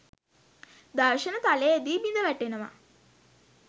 දර්ශන තලයේදී බිඳවැටෙනවා.